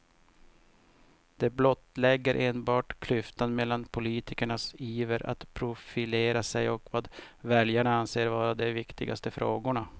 Det blottlägger enbart klyftan mellan politikernas iver att profilera sig och vad väljarna anser vara de viktigaste frågorna.